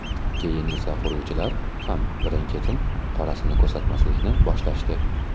Keyin esa quruvchilar ham birin-ketin qorasini ko‘rsatmaslikni boshlashdi.